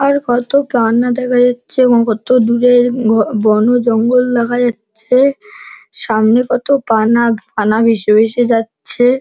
আর কত পানা দেখা যাচ্ছে এবং কত দূরে ঘ বন-জঙ্গল দেখা যাচ্ছে। সামনে কত পানা পানা ভেসে ভেসে যাচ্ছে।